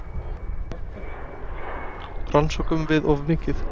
Rannsökum við of mikið?